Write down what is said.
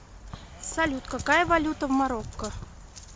салют какая валюта в марокко